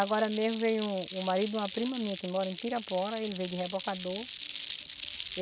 Agora mesmo veio um um marido de uma prima minha que mora em Pirapora, ele veio de rebocador.